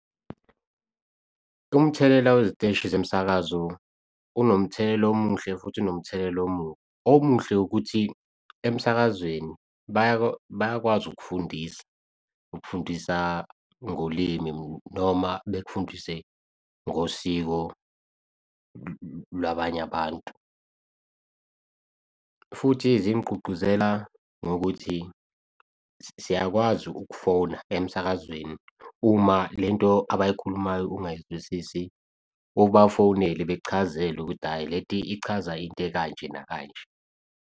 Umthelela weziteshi zemsakazo unomthelela omuhle futhi unomthelela omubi, omuhle ukuthi emsakazweni bayakwazi ukufundisa, ukufundisa ngolimi noma bekufundise ngosiko lwabanye abantu futhi zingigqugquzela ngokuthi siyakwazi ukufona emsakazweni. Uma lento abayikhulumayo ungayizwisisi ubafonele bachazelwe ukuthi ayi lento ichaza into ekanje, nakanje.